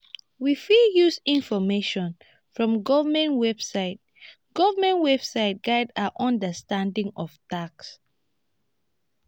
we fit use information from government website government website guide our understanding of tax